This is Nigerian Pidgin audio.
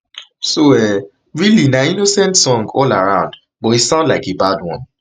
so um really na innocent song all around but e sound like a bad one